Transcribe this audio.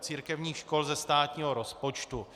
církevních škol ze státního rozpočtu.